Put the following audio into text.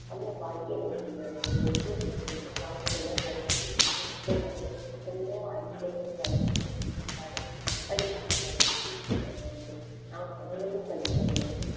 நம்ம வாழ்க்கையில ஒவ்வொரு மனிதனும் வாழ்க்கையில படிச்சு நம்ம அனைவரும் படிக்க வேண்டும்